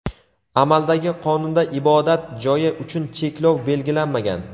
amaldagi qonunda ibodat joyi uchun cheklov belgilanmagan.